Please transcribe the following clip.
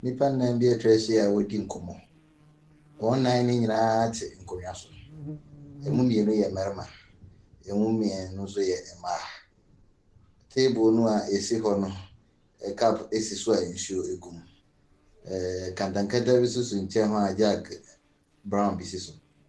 Nnipa nnan bi atwa ahyia a wɔredi nkɔmmɔ, wɔn nnan ne nyina ate nkonnwa so, ɛmu mmienu yɛ mmarima, ɛmu mmienu nso yɛ mmaa. Table no aɛsi hɔ no, cup si so a nsuo gu mu. Ɛɛ nkɛntɛn nkɛntɛn bi nso si nkyɛn hɔ a jug brown bi si so.